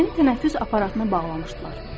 Məni tənəffüs aparatına bağlamışdılar.